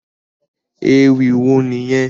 Ewì wo nìyẹn?